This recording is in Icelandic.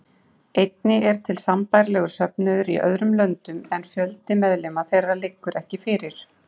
Einnig eru til sambærilegir söfnuðir í öðrum löndum en fjöldi meðlima þeirra liggur ekki fyrir.